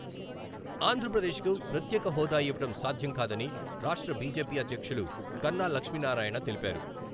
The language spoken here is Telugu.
ఆంధ్రప్రదేశ్కు ప్రత్యేక హోదా ఇవ్వడం సాధ్యంకాదని రాష్ట్ర బిజెపి అధ్యక్షులు కన్నా లక్ష్మీనారాయణ తెలిపారు.